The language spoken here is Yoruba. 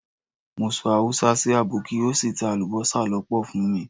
Mo sọ Haúsá sì àbọ́kí ó sì ta alubosa lọ́pọ̀ fún mi.